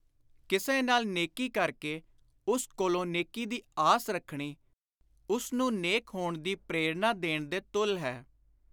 ਕਿਸੇ ਨਾਲ ਨੇਕੀ ਕਰ ਕੇ ਉਸ ਕੋਲੋਂ ਨੇਕੀ ਦੀ ਆਸ ਰੱਖਣੀ, ਉਸ ਨੂੰ ਨੇਕ ਹੋਣ ਦੀ ਪ੍ਰੇਰਣਾ ਦੇਣ ਦੇ ਤੁੱਲ ਹੈ।